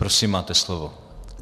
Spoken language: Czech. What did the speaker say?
Prosím, máte slovo.